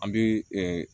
An bɛ